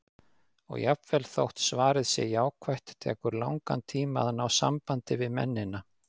Og jafnvel þótt svarið sé jákvætt, tekur langan tíma að ná sambandi við mennina.